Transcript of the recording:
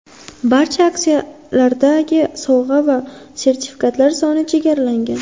Barcha aksiyalardagi sovg‘a va sertifikatlar soni chegaralangan.